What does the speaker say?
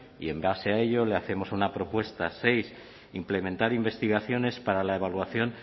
y en base a ello le hacemos una propuesta seis implementar investigaciones para la evaluación